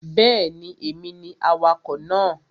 Bẹ́ẹ̀ni, èmi ni awakọ̀ náà